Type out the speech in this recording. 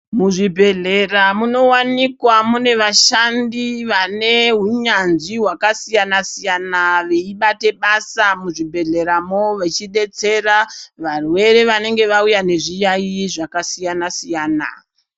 Muzvibhodhlera munowanikwa mune vashandi vaneunyanzvi hwakasiyana siyana veibate basa muzvibhodhlera mo vechidetsera varwere vanenge vauya nezviyaiyi zvakasiyana siyana.